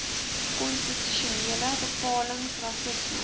konstitusionele bepalings rassisme